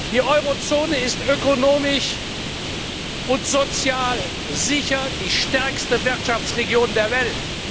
Die Eurozone ist ökonomisch und sozial sicher die stärkste Wirtschaftsregion der Welt.